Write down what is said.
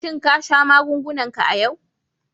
Shin ka sha magungunan k a yau?